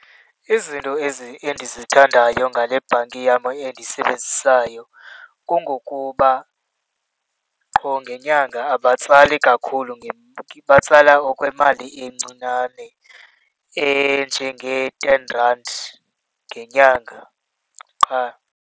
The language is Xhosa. Izinto ezi endizithandayo ngale bhanki yam endiyisebenzisayo kungokuba qho ngenyanga abatsali kakhulu , batsala okwemali encinane enjengee-ten randi ngenyanga qha.